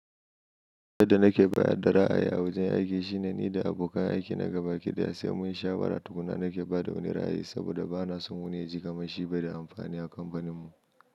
Duk abin da nake bayar da ra'ayi a wajen aiki shine ni da abokan aiki na gaba kiɗaya sai mun sha bara tukuna nake ba da wani ra'ayi saboda ba na son wani ya ji kamar shi bai da amfani a kamfanin mu.